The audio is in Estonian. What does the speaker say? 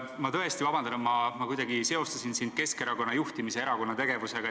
Ma tõesti palun vabandust, et ma seostasin sind Keskerakonna juhtimise ja erakonna tegevusega.